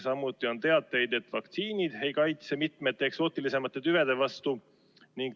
Samuti on teateid, et vaktsiinid ei kaitse mitme eksootilisema tüve vastu.